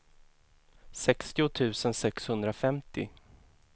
sextio tusen sexhundrafemtio